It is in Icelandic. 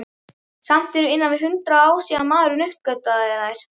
Samt eru innan við hundrað ár síðan maðurinn uppgötvaði þær.